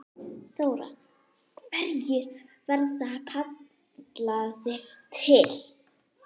Þóra: Hverjir verða kallaðir til?